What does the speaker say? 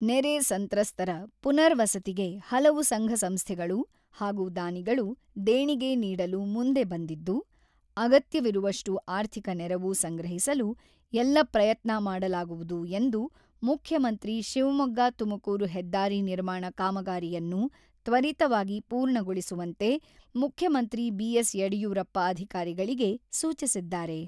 ನೆರೆ ಸಂತ್ರಸ್ತರ ಪುನರ್ ವಸತಿಗೆ ಹಲವು ಸಂಘ-ಸಂಸ್ಥೆಗಳು ಹಾಗೂ ದಾನಿಗಳು ದೇಣಿಗೆ ನೀಡಲು ಮುಂದೆ ಬಂದಿದ್ದು, ಅಗತ್ಯವಿರುವಷ್ಟು ಆರ್ಥಿಕ ನೆರವು ಸಂಗ್ರಹಿಸಲು ಎಲ್ಲ ಪ್ರಯತ್ನ ಮಾಡಲಾಗುವುದು ಎಂದು ಮುಖ್ಯಮಂತ್ರಿ ಶಿವಮೊಗ್ಗ-ತುಮಕೂರು ಹೆದ್ದಾರಿ ನಿರ್ಮಾಣ ಕಾಮಗಾರಿಯನ್ನು ತ್ವರಿತವಾಗಿ ಪೂರ್ಣಗೊಳಿಸುವಂತೆ ಮುಖ್ಯಮಂತ್ರಿ ಬಿ.ಎಸ್.ಯಡಿಯೂರಪ್ಪ ಅಧಿಕಾರಿಗಳಿಗೆ ಸೂಚಿಸಿದ್ದಾರೆ.